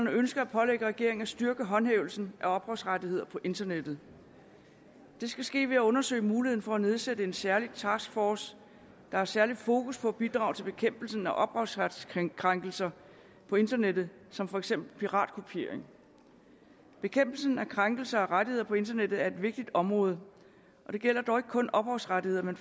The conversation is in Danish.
ønsker at pålægge regeringen at styrke håndhævelsen af ophavsrettigheder på internettet det skal ske ved at undersøge muligheden for at nedsætte en særlig taskforce der har særligt fokus på at bidrage til bekæmpelsen af ophavsretskrænkelser på internettet som for eksempel piratkopiering bekæmpelsen af krænkelser af rettigheder på internettet er et vigtigt område det gælder dog ikke kun ophavsrettigheder men